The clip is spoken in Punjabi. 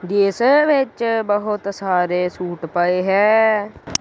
ਜਿਸ ਵਿਚ ਬਹੁਤ ਸਾਰੇ ਸੂਟ ਪਏ ਹੈ।